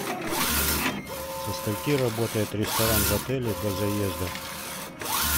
со скольки работает ресторан в отеле до заезда